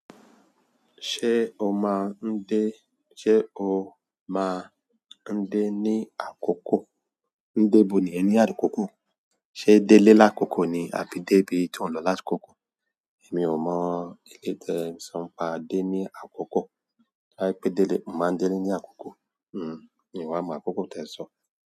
Ṣé o má a ń dé, ṣe o má a ń dé ní àkókò? Dé bo ni yen ní àkókò? Ṣé délé lákòókò ni, àbí débí to n lọ lásìkò? Èmi ò mọ eleyi tì ẹ̀ ń sọ pa dé ní àkókò. Rárí pé délé, mo máa ń délé ní àkókò. Hihh, in wà mọ àkókò tẹ̀ ń sọ.